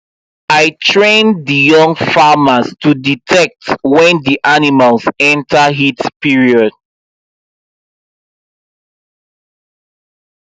i train the young farmers to detect when the animals enter heat period